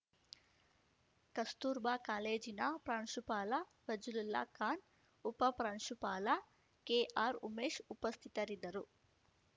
ಕಸ್ತೂರ್‌ಬಾ ಕಾಲೇಜಿನ ಪ್ರಾಂಶುಪಾಲ ಫಜ್ಲುಲ್ಲಾ ಖಾನ್‌ ಉಪಪ್ರಾಂಶುಪಾಲ ಕೆಆರ್‌ಉಮೇಶ್‌ ಉಪಸ್ಥಿತರಿದ್ದರು